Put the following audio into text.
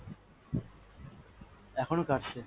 এখনও কাটছে।